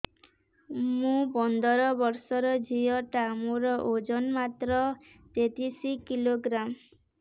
ମୁ ପନ୍ଦର ବର୍ଷ ର ଝିଅ ଟା ମୋର ଓଜନ ମାତ୍ର ତେତିଶ କିଲୋଗ୍ରାମ